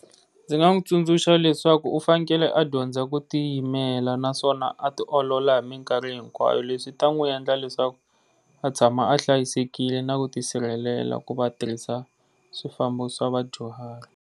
Ndzi nga n'wi tsundzuxa leswaku u fanekele a dyondza ku tiyimela naswona a ti olola hi minkarhi hinkwayo leswi swi ta n'wi endla leswaku a tshama a hlayisekile na ku ti sirhelela ku va a tirhisa swifambo swa vadyuhari.